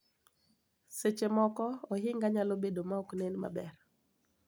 Seche moko ohinga nyalo bedo ma ok nen maber.